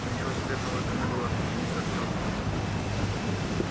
да ничего секретного в этом не было отмахнулся артём